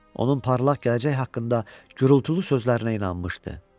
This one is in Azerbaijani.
Onun parlaq gələcək haqqında gurultulu sözlərinə inanmışdı.